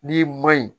N'i ma ɲi